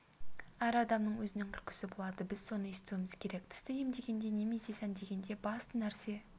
әр адамның өзінің күлкісі болады біз соны естуіміз керек тісті емдегенде немесе сәндегенде басты нәрсе